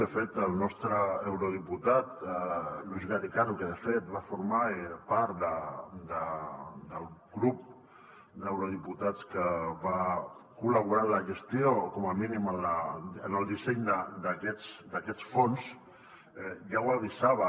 de fet el nostre eurodiputat luis garicano que de fet va formar part del grup d’eurodiputats que va col·laborar en la gestió com a mínim en el disseny d’aquests fons ja ho avisava